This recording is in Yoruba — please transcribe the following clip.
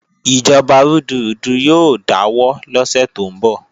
Ìjọba rúdurùdu yóò dáwọ́ lọ́sẹ̀ tó ń bọ̀